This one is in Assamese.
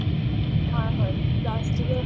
হয় হয় plastic ৰ